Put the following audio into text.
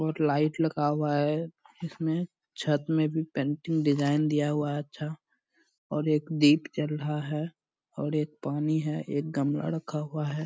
और लाइट लगा हुआ है । इसमे छत मे भी पेंटिंग डिज़ाइन दिया हुआ है अच्छा और एक दीप जल रहा है और एक पानी है । एक गमला रखा हुआ है ।